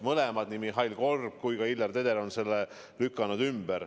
Mõlemad, nii Mihhail Korb kui ka Hillar Teder, on selle ümber lükanud.